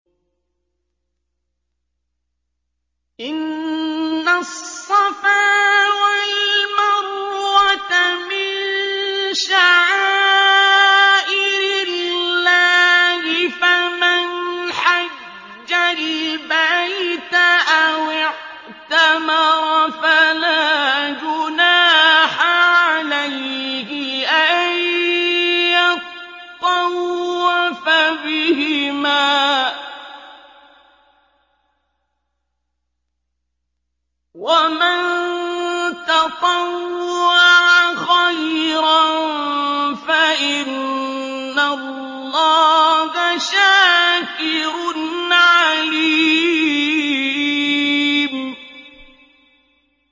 ۞ إِنَّ الصَّفَا وَالْمَرْوَةَ مِن شَعَائِرِ اللَّهِ ۖ فَمَنْ حَجَّ الْبَيْتَ أَوِ اعْتَمَرَ فَلَا جُنَاحَ عَلَيْهِ أَن يَطَّوَّفَ بِهِمَا ۚ وَمَن تَطَوَّعَ خَيْرًا فَإِنَّ اللَّهَ شَاكِرٌ عَلِيمٌ